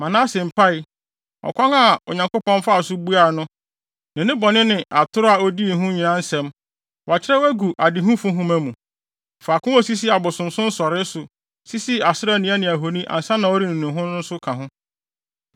Manase mpae, ɔkwan a Onyankopɔn faa so buaa no, ne ne bɔne ne atoro a odii nyinaa ho nsɛm, wɔakyerɛw agu adehufo nhoma mu. Faako a osii abosonsom nsɔree so, sisii Asera nnua ne ahoni ansa na ɔrenu ne ho no nso ka ho.